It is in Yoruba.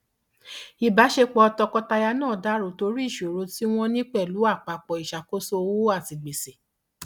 ìbáṣepọ tọkọtaya náà dá rú torí ìṣòro tí wọn ní pẹlú apapọ ìṣàkóso owó àti gbèsè